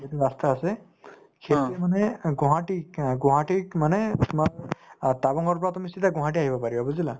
যিটো ৰাস্তা আছে সেইটোয়ে মানে অ গুৱাহাটীক অ গুৱাহাটীক মানে অ টাৱাঙৰ পৰা তুমি চিধাই গুৱাহাটী আহিব পাৰিব বুজিলা